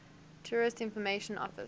tourist information office